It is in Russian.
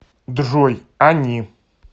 джой они